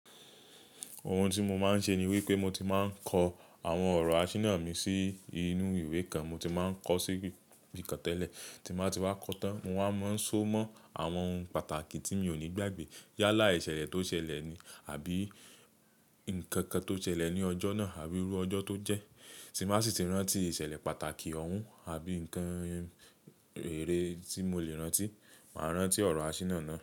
Ohun tí mo máa ń ṣe ni wípé mo ti máa ń kọ àwọn ọ̀rọ̀ àṣìná mi sí inú ìwé kan. Mo ti máa ń kọ sí ibi kan tẹ́lẹ̀ tí máa ti wá kọ tán. Mo máa ń so mọ́ àwọn ohun pàtàkì tí mi ò ní gbàgbé yálà ìṣẹ̀lẹ̀ tó ṣẹlẹ̀ ni àbí ǹkan kan tó ṣẹlẹ̀ ní ọjọ́ náà àbí rú ọjọ́ tó jẹ́. Ti n bà sì ti rántí ìṣẹ̀lẹ̀ pàtàkì ọ̀hún àbí ǹkan èrè tí mo le rántí, màá rántí ọ̀rọ̀ àṣìná náà.